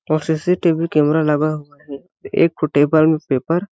और C C T V camera लगा हुआ है अउ एक ठो टेबल में पेपर --